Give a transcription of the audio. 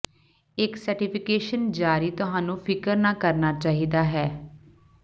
ਇੱਕ ਸਰਟੀਫਿਕੇਸ਼ਨ ਜਾਰੀ ਤੁਹਾਨੂੰ ਫਿਕਰ ਨਾ ਕਰਨਾ ਚਾਹੀਦਾ ਹੈ